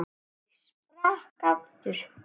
Ég sprakk aftur.